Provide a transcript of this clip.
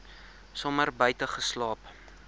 somer buite geslaap